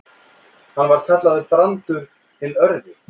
Hann var kallaður Brandur hinn örvi.